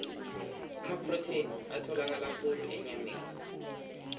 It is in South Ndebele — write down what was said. amaprotheni atholakala khulu enyameni